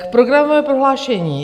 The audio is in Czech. K programovému prohlášení.